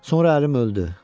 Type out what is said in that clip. Sonra ərim öldü.